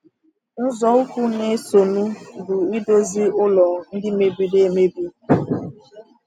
Nzọụkwụ na-esonụ bụ idozi ụlọ ndị mebiri emebi.